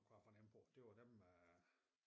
Kunne jeg fornemme på det var dem øh